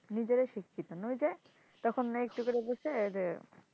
নিজেরাই শিক্ষিত না ওই যে তখন না একটু করে কইসে যে,